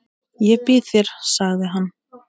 Ég býð þér, sagði hann.